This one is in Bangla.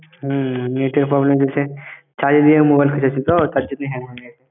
হম net এর problem হচ্ছে, charge এ দিয়ে mobile hang গেছে।